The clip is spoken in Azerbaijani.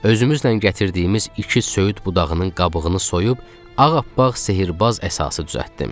Özümüzlə gətirdiyimiz iki söyüd budağının qabığını soyub, ağ appaq sehrbaz əsası düzəltdim.